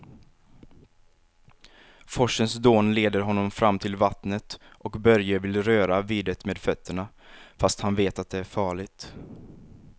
Forsens dån leder honom fram till vattnet och Börje vill röra vid det med fötterna, fast han vet att det är farligt.